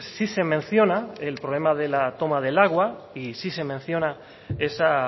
sí se menciona el problema de la toma del agua y sí se menciona esa